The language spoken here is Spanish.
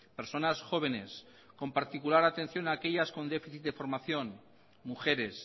personas jóvenes con particular atención aquellas con déficit de formación mujeres